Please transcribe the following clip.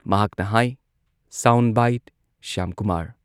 ꯃꯍꯥꯛꯅ ꯍꯥꯏ sound bite Shyamkumar